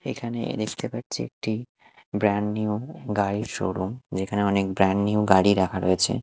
এখানে এ দেখতে পাচ্ছি একটি ব্র্যান্ড নিউ গাড়ির শোরুম যেখানে অনেক ব্র্যান্ড নিউ গাড়ি রাখা রয়েছে।